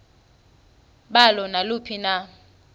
balo naluphi na